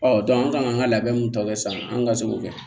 Ɔ an kan ka labɛn min tɔ kɛ sisan an ka se k'o kɛ